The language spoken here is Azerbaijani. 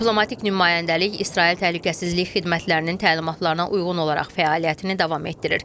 Diplomatik nümayəndəlik İsrail təhlükəsizlik xidmətlərinin təlimatlarına uyğun olaraq fəaliyyətini davam etdirir.